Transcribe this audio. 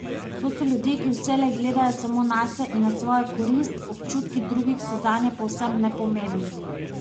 To so ljudje, ki vselej gledajo samo nase in na svojo korist, občutki drugih so zanje povsem nepomembni.